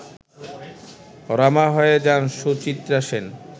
রমা হয়ে যান সুচিত্রা সেন